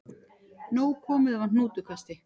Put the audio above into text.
Nóg komið af hnútukasti